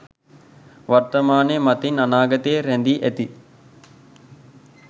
වර්තමානය මතින් අනාගතය රැඳී ඇති